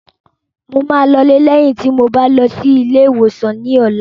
Mo máa lọ lé lẹ́yìn tí mo bá ti lọ sí ilé ìwòsàn ní ọ̀la